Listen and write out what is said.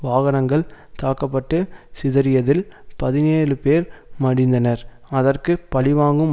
வாகனங்கள் தாக்க பட்டு சிதறியதில் பதினேழுபேர் மடிந்தனர் அதற்கு பழிவாங்கும்